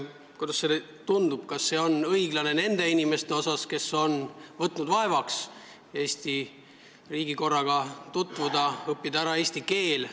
Kuidas sulle tundub, kas see on õiglane nende inimeste suhtes, kes on võtnud vaevaks Eesti riigikorraga tutvuda ja õppida ära eesti keele?